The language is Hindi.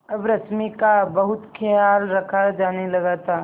अब रश्मि का बहुत ख्याल रखा जाने लगा था